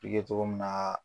Bɛ kɛ togo min na.